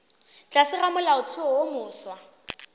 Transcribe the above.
tlase ga molaotheo wo mofsa